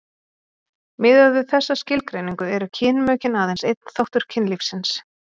miðað við þessa skilgreiningu eru kynmökin aðeins einn þáttur kynlífsins